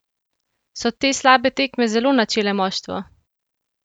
So te slabe tekme zelo načele moštvo?